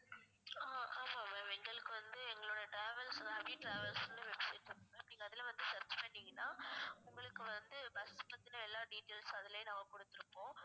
ஆஹ் ஆஹான் ma'am எங்களுக்கு வந்து எங்களோட travels abi travels னு website நீங்க அதுல வந்து search பண்ணீங்கன்னா உங்களுக்கு வந்து bus பத்தின எல்லா details ம் அதுலயே நாங்க கொடுத்திருப்போம்